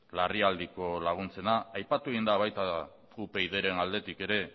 larrialdiko laguntzena etab aipatu egin da baita upydren aldetik ere